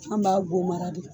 An b'a zomara de .